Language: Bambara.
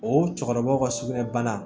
O cɛkɔrɔbaw ka sugunɛ bana